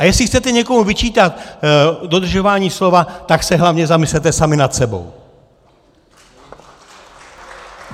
A jestli chcete někomu vyčítat dodržování slova, tak se hlavně zamyslete sami nad sebou!